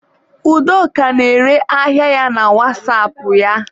Udoka na-ere ahịa ya na wasapụ ya